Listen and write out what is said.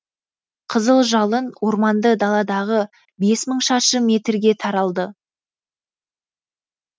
қызыл жалын орманды даладағы бес мың шаршы метрге таралды